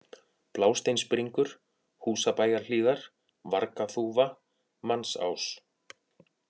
Blásteinsbringur, Húsabæjarhlíðar, Vargaþúfa, Mannsás